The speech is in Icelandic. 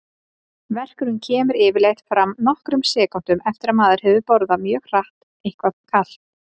Verkurinn kemur yfirleitt fram nokkrum sekúndum eftir að maður hefur borðað mjög hratt eitthvað kalt.